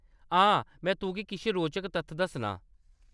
आ, में तुगी किश रोचक तत्थ दस्सनां।